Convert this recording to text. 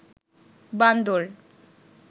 বান্দর